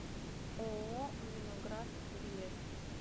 ооо вино град билет